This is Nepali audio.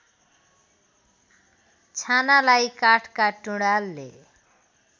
छानालाई काठका टुँडालले